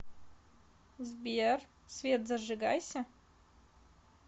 сбер свет зажигайся